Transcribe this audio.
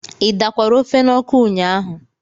ị dakwara ofe n'ọkụ ụnyaahụ?